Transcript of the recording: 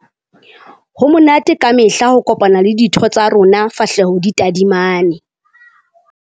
Ho monate ka mehla ho kopana le ditho tsa rona fahleho di tadimane.